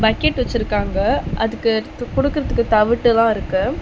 Bucket வச்சுருக்காங்க அதுக்கு எடுத்து குடுக்குறதுக்கு தவுட்டுலாருக்கு.